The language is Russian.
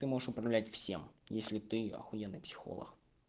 ты можешь управлять всем если ты ахуенный психолог